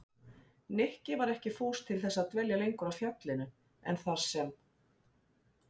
Nikki var ekki fús til þess að dvelja lengur á fjallinu en þar sem